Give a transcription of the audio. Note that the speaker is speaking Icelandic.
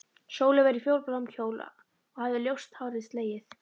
Sóley var í fjólubláum kjól og hafði ljóst hárið slegið.